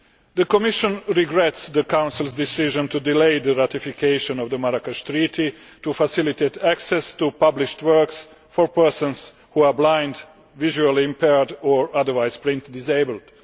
The Commission regrets the Council's decision to delay the ratification of the Marrakesh Treaty to Facilitate Access to Published Works for Persons who are Blind, Visually Impaired, or otherwise Print Disabled.